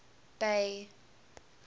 bay